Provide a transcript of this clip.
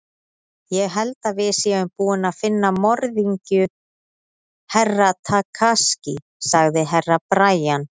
Ég held að við séum búin að finna morðingju Herra Takashi, sagði Herra Brian.